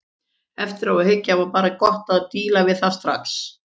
Eftir á að hyggja var bara gott að díla við það strax.